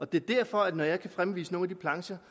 det er derfor at når jeg kan fremvise nogle af de plancher